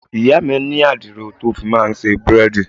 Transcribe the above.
Ìyá mi ní adiro tó fi máa ń ṣe búrẹ́dì.